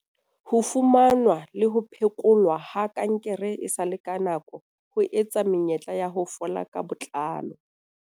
Ho fumanwa le ho phe kolwa ha kankere esale ka nako, ho eketsa menyetla ya ho fola ka botlalo.